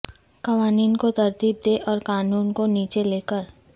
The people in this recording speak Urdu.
قوانین کو ترتیب دیں اور قانون کو نیچے لے کر